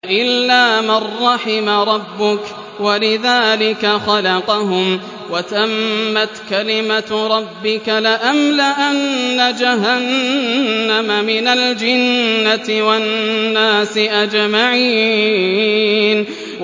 إِلَّا مَن رَّحِمَ رَبُّكَ ۚ وَلِذَٰلِكَ خَلَقَهُمْ ۗ وَتَمَّتْ كَلِمَةُ رَبِّكَ لَأَمْلَأَنَّ جَهَنَّمَ مِنَ الْجِنَّةِ وَالنَّاسِ أَجْمَعِينَ